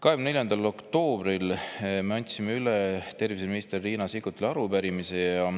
24. oktoobril me andsime üle terviseminister Riina Sikkutile arupärimise.